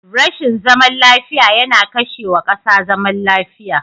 Rashin zaman lafiya yana kashe wa kasa zaman lafiya.